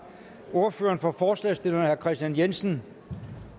ordføreren for forslagsstillerne herre kristian jensen